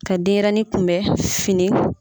Ka denyɛrɛnin kun bɛ fini.